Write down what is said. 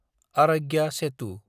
आरग्या सेटु